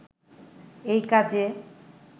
এই কাজে